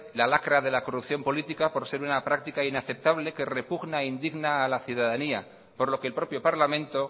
la lacra de la corrupción política por ser una práctica inaceptable que repugna e indigna a la ciudadanía por lo que el propio parlamento